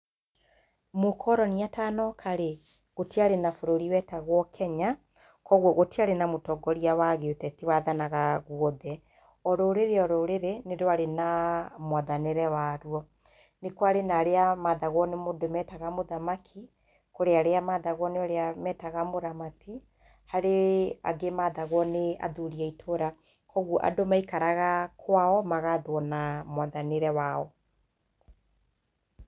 Mũkoroni atanoka rĩ, gũtiarĩ na bũrũri wetagwo Kenya. Kwoguo gũtiarĩ na mũtongoria wa gĩũteti wathanaga guothe. O rũrĩrĩ o rũrĩrĩ, nĩ rwarĩ na mwathanĩre warũo. Nĩ kwarĩ na arĩa mathagwo nĩ mũndũ wetagwo mũthamaki, kũrĩ arĩa mathagwo nĩ ũrĩa wetaga mũramati, harĩ angĩ mathagwo nĩ athuri a itũra. Kwoguo ndũ maikaraga kwao magathwo na mwathanĩre wao.